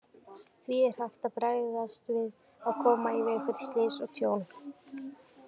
Því er hægt að bregðast við og koma í veg fyrir slys og tjón.